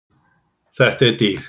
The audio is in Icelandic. Þetta er dýrt.